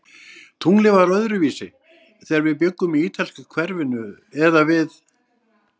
Tunglið var öðruvísi, þegar við bjuggum í ítalska hverfinu eða við